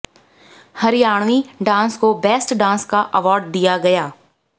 Haryanvi dance को best dance का award दिया गया